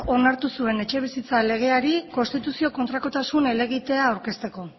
onartu zuen etxebizitza legeari konstituzio kontrakotasun helegitea aurkezteko